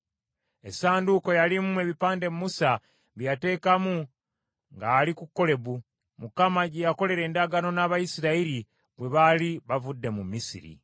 Essanduuko yalimu ebipande Musa bye yateekamu nga ali ku Kolebu, Mukama gye yakolera endagaano n’Abayisirayiri, bwe baali bavudde mu Misiri.